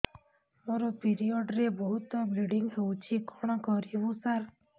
ମୋର ପିରିଅଡ଼ ରେ ବହୁତ ବ୍ଲିଡ଼ିଙ୍ଗ ହଉଚି କଣ କରିବୁ ସାର